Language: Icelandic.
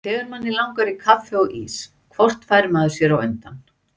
Þegar manni langar í kaffi og ís hvort fær maður sér á undan?